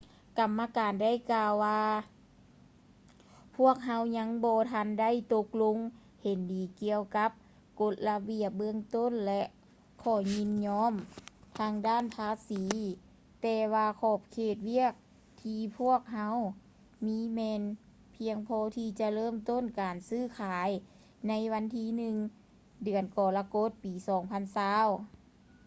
ກຳມະການໄດ້ກ່າວວ່າ ພວກເຮົາຍັງບໍ່ທັນໄດ້ຕົກລົງເຫັນດີກ່ຽວກັບກົດລະບຽບເບື້ອງຕົ້ນ ແລະ ຂໍ້ຍິນຍອມທາງດ້ານພາສີ ແຕ່ວ່າຂອບເຂດວຽກທີ່ພວກເຮົາມີແມ່ນພຽງພໍທີ່ຈະເລີ່ມຕົ້ນການຊື້ຂາຍໃນວັນທີ 1 ເດືອນກໍລະກົດປີ 2020